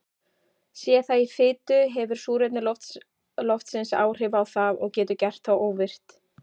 Sé það í fitu hefur súrefni loftsins áhrif á það og getur gert það óvirkt.